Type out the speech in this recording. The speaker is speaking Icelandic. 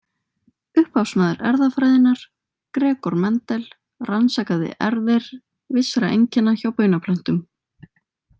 Upphafsmaður erfðafræðinnar, Gregor Mendel, rannsakaði erfðir vissra einkenna hjá baunaplöntum.